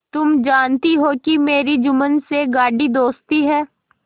तुम जानती हो कि मेरी जुम्मन से गाढ़ी दोस्ती है